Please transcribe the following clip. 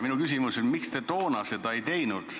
Miks te toona seda ei teinud?